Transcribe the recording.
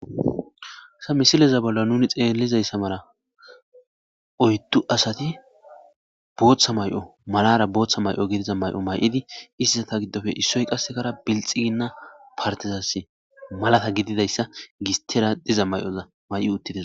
Hayssa misileza bolla nuni xeelizaysa mala oydu asati bootha mayo malara bootha mayo gidiza mayo mayidi,izetappe issoy qasseka bilxigina partezasi malata gidizayssa gistera diza mayoza mayi uttides.